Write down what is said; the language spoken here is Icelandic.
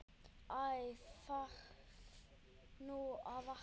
Æ þarf nú að vakna.